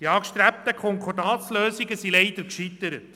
Die angestrebten Konkordatslösungen sind leider gescheitert.